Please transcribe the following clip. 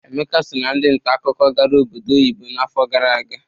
Emeka so ná ndị nta akụkọ gara obodo oyibo n'afọ gara aga.